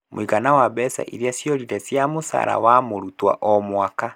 Mũigana wa mbeca irĩa ciorire cia mũcara wa mũrutwo o mwaka